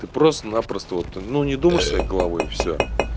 ты просто напросто вот ну не думаешь своей головой и всё